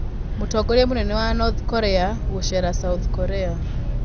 Mũtongoria mũnene wa North Korea gũceera South Korea